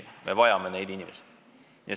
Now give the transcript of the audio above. Me vajame neid inimesi!